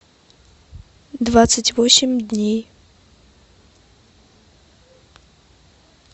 двадцать восемь дней